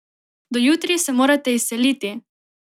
Do jutri se morate izseliti!